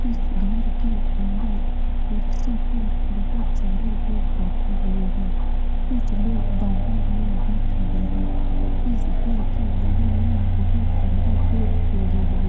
इस घर के अंदर कुर्सी पर बहुत सारे लोग बैठे हुए हैं । कुछ लोग बहार में भी खड़े हैं । इस घर के बगल में बोहोत सारे पेड़-पौधे भी --